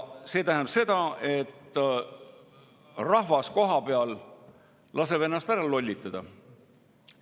See tähendab seda, et rahvas kohapeal laseb ennast ära lollitada.